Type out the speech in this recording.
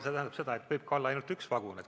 See tähendab seda, et võibki olla ainult üks vagun.